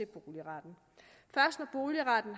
boligretten